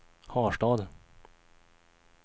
Harstad